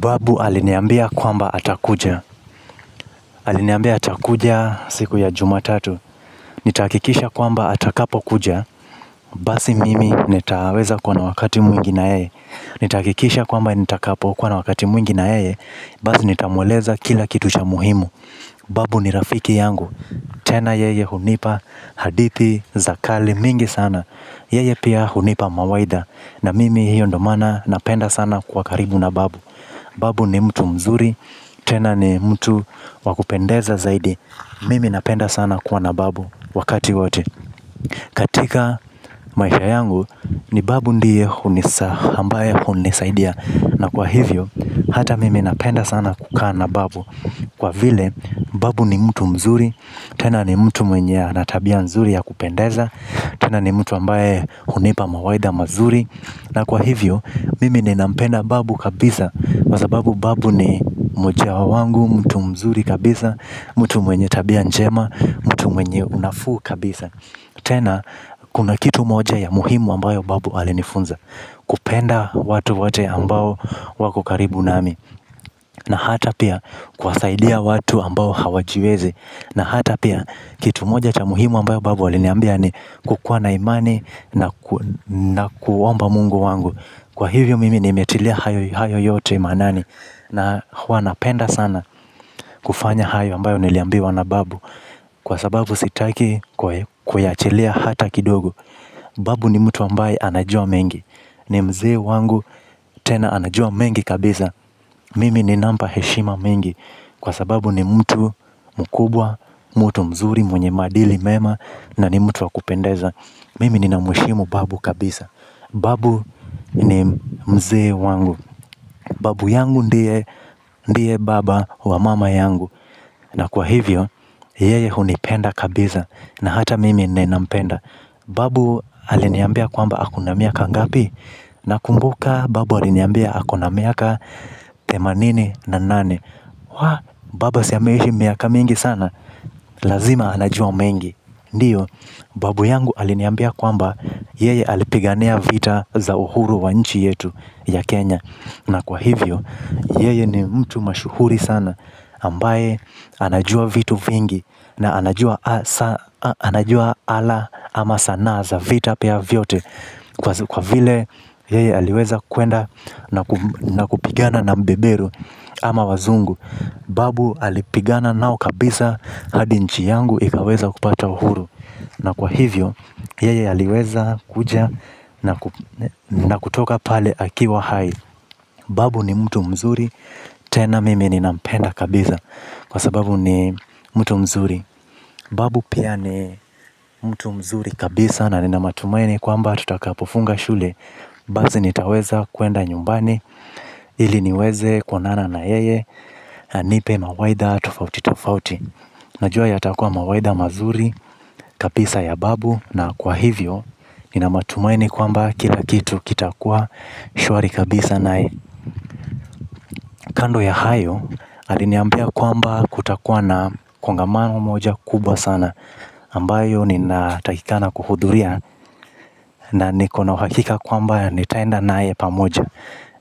Babu aliniambia kwamba atakuja. Aliniambia atakuja siku ya jumatatu. Nitahakikisha kwamba atakapo kuja. Basi mimi nitaweza kuwa na wakati mwingi na yeye. Nitahakikisha kwamba nitakapo kuwa na wakati mwingi na yeye. Basi nitamweleza kila kitu cha muhimu. Babu ni rafiki yangu. Tena yeye hunipa hadithi za kale mingi sana. Yeye pia hunipa mawaidha. Na mimi hiyo ndio maana napenda sana kuwa karibu na babu. Babu ni mtu mzuri, tena ni mtu wakupendeza zaidi. Mimi napenda sana kuwa na babu wakati wote. Katika maisha yangu ni babu ndiye ambaye hunisaidia. Na kwa hivyo, hata mimi napenda sana kukaa na babu. Kwa vile, babu ni mtu mzuri, tena ni mtu mwenye ana tabia nzuri ya kupendeza. Tena ni mtu ambaye hunipa mawaidha mazuri. Na kwa hivyo, mimi ni nampenda babu kabisa kwa sababu babu ni moja wangu, mtu mzuri kabisa, mtu mwenye tabia njema, mtu mwenye unafuu kabisa. Tena, kuna kitu moja ya muhimu ambayo babu alinifunza. Kupenda watu wote ambao wako karibu nami. Na hata pia, kuwasaidia watu ambao hawajiwezi. Na hata pia kitu moja cha muhimu ambayo babu aliniambia ni kukuwa na imani na kuomba mungu wangu. Kwa hivyo mimi nimetilia hayo yote maanani. Na huwa napenda sana kufanya hayo ambayo niliambiwa na babu. Kwa sababu sitaki kuyaachilia hata kidogo. Babu ni mtu ambaye anajua mengi. Ni mzee wangu tena anajua mengi kabisa. Mimi ni nampa heshima mingi. Kwa sababu ni mtu mkubwa, mtu mzuri, mwenye maadili mema na ni mtu wa kupendeza. Mimi nina mheshimu babu kabisa. Babu ni mzee wangu. Babu yangu ndiye baba wa mama yangu. Na kwa hivyo, yeye hunipenda kabisa na hata mimi ninampenda. Babu aliniambia kwamba ako na miaka ngapi. Na kumbuka babu aliniambia ako na miaka themanini na nane. Babu si ameishi miaka mingi sana. Lazima anajua mengi. Ndiyo babu yangu aliniambia kwamba yeye alipigania vita za uhuru wa nchi yetu ya Kenya. Na kwa hivyo yeye ni mtu mashuhuri sana ambaye anajua vitu vingi. Na anajua anajua ala ama sanaa za vita pia vyote. Kwa vile yeye aliweza kwenda na kupigana na mbebero ama wazungu, babu alipigana nao kabisa hadi nchi yangu ikaweza kupata uhuru. Na kwa hivyo, yeye aliweza kuja na kutoka pale akiwa hai. Babu ni mtu mzuri, tena mimi ni nampenda kabisa. Kwa sababu ni mtu mzuri. Babu pia ni mtu mzuri kabisa na nina matumaini kwa mba tutaka pofunga shule. Basi nitaweza kuenda nyumbani. Ili niweze kuonana na yeye anipe mawaidha tofauti tofauti. Najua ya takuwa mawaidha mazuri kabisa ya babu na kwa hivyo nina matumaini kwamba kila kitu kitakuwa shwari kabisa naye. Kando ya hayo aliniambia kwamba kutakuwa na kongamano moja kubwa sana ambayo ni natakikana kuhudhuria na nikona uhakika kwamba ni taenda naye pamoja.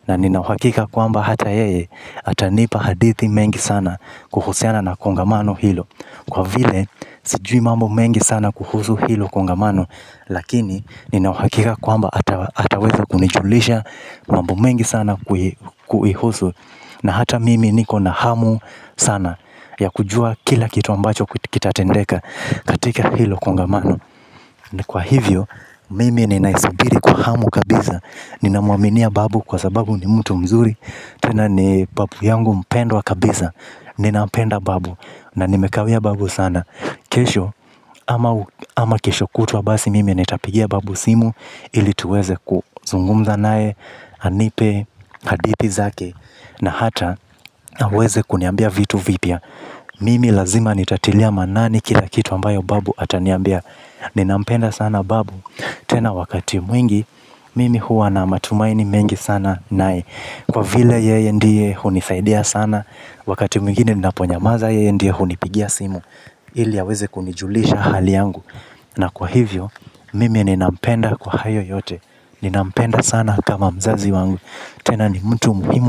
Na nina uhakika kwamba hata yeye, atanipa hadithi mengi sana kuhusiana na kongamano hilo. Kwa vile, sijui mambo mengi sana kuhusu hilo kongamano. Lakini, nina uhakika kwamba ataweza kunijulisha mambo mengi sana kuihusu. Na hata mimi niko na hamu sana ya kujua kila kitu ambacho kitatendeka katika hilo kongamano. Ni kwa hivyo, mimi ninaisubiri kwa hamu kabisa. Ninamuaminia babu kwa sababu ni mtu mzuri tena ni babu yangu mpendwa kabisa. Ninapenda babu. Na nimekawia babu sana. Kesho, ama kesho kutwa basi mimi nitapigia babu simu. Ili tuweze kuzungumza naye, anipe, hadithi zake. Na hata, aweze kuniambia vitu vipya mimi lazima nitatilia maanane kila kitu ambayo babu ataniambia. Ninampenda sana babu. Tena wakati mwingi. Mimi huwa na matumaini mengi sana naye. Kwa vile yeye ndiye hunisaidia sana. Wakati mwingine ninaponyamaza yeye ndiye hunipigia simu. Ili aweze kunijulisha hali yangu. Na kwa hivyo mimi ninampenda kwa hayo yote. Ninampenda sana kama mzazi wangu. Tena ni mtu muhimu.